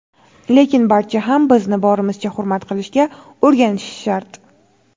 lekin barcha ham bizni borimizcha hurmat qilishga o‘rganishi shart!.